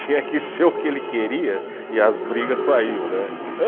Tinha que ser o que ele queria e as brigas saíam, né?